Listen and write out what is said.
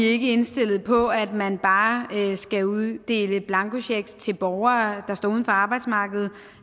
ikke indstillet på at man bare skal uddele blankochecks til borgere der står uden for arbejdsmarkedet